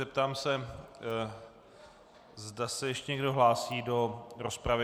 Zeptám se, zda se ještě někdo hlásí do rozpravy.